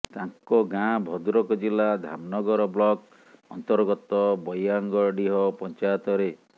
ତାଙ୍କ ଗାଁ ଭଦ୍ରକ ଜିଲ୍ଲା ଧାମନଗର ବ୍ଲକ ଅନ୍ତର୍ଗତ ବୟାଙ୍ଗଡିହ ପଞ୍ଚାୟତରେ